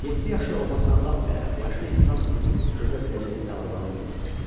Yeddi yaşı olmasına baxmayaraq yaşlı insan ömrünün dözə biləcəyi bəlaları dözmüşdü.